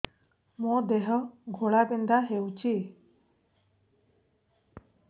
ମୋ ଦେହ ଘୋଳାବିନ୍ଧା ହେଉଛି